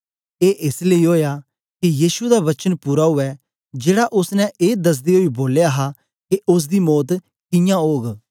ए एस लेई ओया के यीशु दा वचन पूरा उवै जेड़ा ओसने ए दसदे ओई बोलया हा के ओसदी मौत कियां ओग